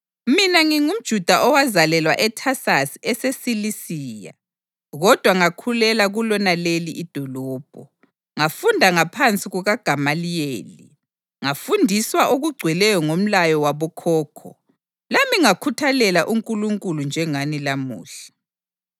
“Mina ngingumJuda owazalelwa eThasasi eseSilisiya, kodwa ngakhulela kulonaleli idolobho. Ngafunda ngaphansi kukaGamaliyeli, ngafundiswa okugcweleyo ngomlayo wabokhokho, lami ngakhuthalela uNkulunkulu njengani lamuhla.